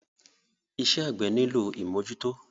Iṣẹ́ àgbẹ́ nílò ìmọ́jútọ́.